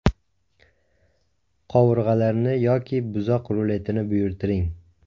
Qovurg‘alarni yoki buzoq ruletini buyurtiring.